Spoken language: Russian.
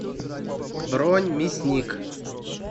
бронь мясникъ